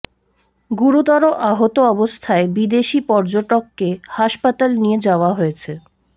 গুরুতর আহত অবস্থায় বিদেশি পর্যটককে হাসপাতালে নিয়ে যাওয়া হয়েছে